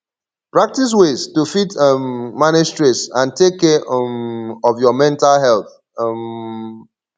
practice ways to fit um manage stress and take care um of your mental health um